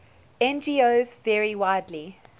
ngos vary widely